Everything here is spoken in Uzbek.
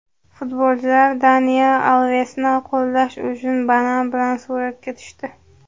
Futbolchilar Daniel Alvesni qo‘llash uchun banan bilan suratga tushdi .